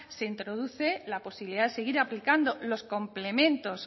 se introduce la posibilidad seguir aplicando los complementos